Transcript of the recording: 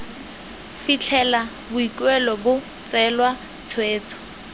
fitlhela boikuelo bo tseelwa tshwetso